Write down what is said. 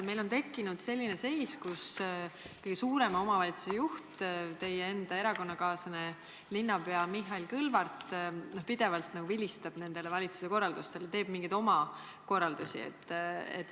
Meil on tekkinud selline seis, et kõige suurema omavalitsuse juht, teie enda erakonnakaaslane, linnapea Mihhail Kõlvart pidevalt vilistab valitsuse korraldustele, annab mingeid oma korraldusi.